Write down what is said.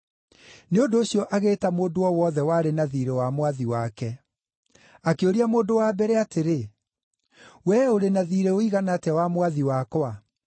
“Nĩ ũndũ ũcio agĩĩta mũndũ o wothe warĩ na thiirĩ wa mwathi wake. Akĩũria mũndũ wa mbere atĩrĩ, ‘Wee ũrĩ na thiirĩ ũigana atĩa wa mwathi wakwa?’